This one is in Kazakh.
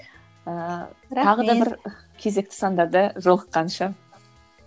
ыыы кезекті сандарда жолыққанша